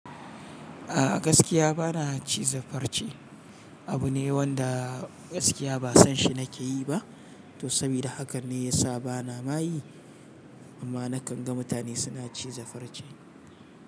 A gaskiya bana ciza farce. Abu ne wanda gaskiya ba san shi nake yi ba to sabida haka ne ya sa bana mayi. Amma na kan ga mutane suna ci zafarce.